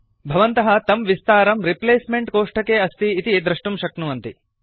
भवन्तः तं विस्तारं रिप्लेस्मेंट कोष्ठके अस्ति इति दृष्टुं शक्नुवन्ति